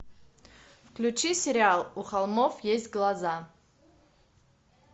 включи сериал у холмов есть глаза